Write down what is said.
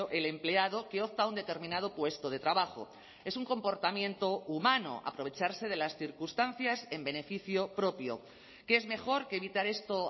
el empleado que opta a un determinado puesto de trabajo es un comportamiento humano aprovecharse de las circunstancias en beneficio propio que es mejor que evitar esto